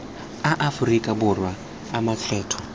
a aforika borwa a makgetho